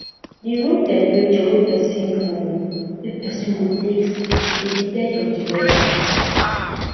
di room temperature wey person go wey person go take sleep dey depend on di weather